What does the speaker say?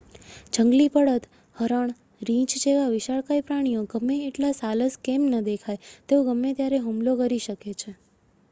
જંગલી બળદ હરણ રીછ જેવા વિશાળકાય પ્રાણીઓ ગમે એટલા સાલસ કેમ ન દેખાય તેઓ ગમે ત્યારે હુમલો કરી શકે છે